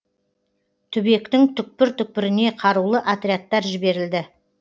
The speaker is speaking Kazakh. түбектің түкпір түкпіріне қарулы отрядтар жіберілді